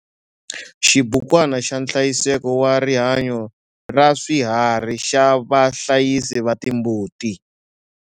Xibukwana xa nhlayiseko wa rihanyo ra swiharhi xa vahlayisi va timbuti.